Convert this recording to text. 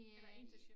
Eller internship